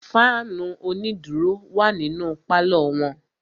Fáànù onídùró wà nínú pálọ̀ wọn.